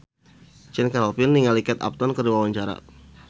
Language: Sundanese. Chand Kelvin olohok ningali Kate Upton keur diwawancara